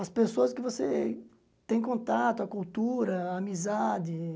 As pessoas que você tem contato, a cultura, a amizade.